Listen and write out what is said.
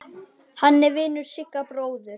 Hann er vinur Sigga bróður.